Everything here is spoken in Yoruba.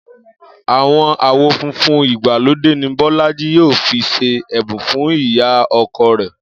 Àwon awo funfun ìgbàlódé ni Bó̩lájí yóò fi s̩e è̩bùn fún ìyá o̩ko̩ rè̩